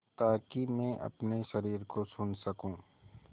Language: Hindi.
ताकि मैं अपने शरीर को सुन सकूँ